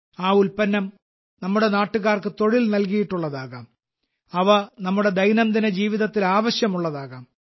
ആ ഉൽപ്പന്നം നമ്മുടെ നാട്ടുകാർക്ക് തൊഴിൽ നല്കിയിട്ടുള്ളതാകാം അവ നമ്മുടെ ദൈനംദിന ജീവിതത്തിൽ ആവശ്യം ഉള്ളതാകാം